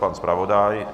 Pan zpravodaj?